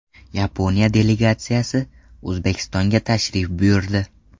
Yaponiya delegatsiyasi O‘zbekistonga tashrif buyurdi.